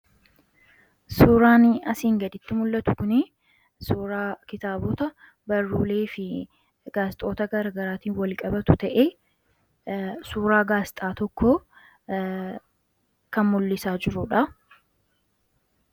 Suuraani asiin gaditti mul'atu kun suuraa kitaabota barruulee fi gaazexaawwan garagaraatii wal-qabatu ta'ee suuraa gaazexaa tokko kan mul'isaa jiruudha.